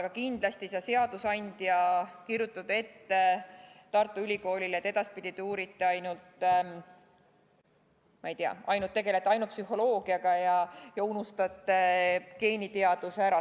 Aga kindlasti ei saa seadusandja kirjutada ette Tartu Ülikoolile, et edaspidi te uurite ainult mingit kindlat valdkonda, ma ei tea, tegelete ainult psühholoogiaga ja unustate geeniteaduse ära.